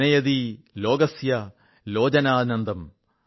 ജനയതി ലോകസ്യ ലോചനാനന്ദം